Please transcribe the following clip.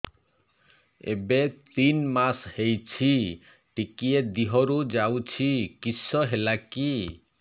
ଏବେ ତିନ୍ ମାସ ହେଇଛି ଟିକିଏ ଦିହରୁ ଯାଉଛି କିଶ ହେଲାକି